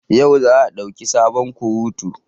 Yau za a dauki sabon kurutu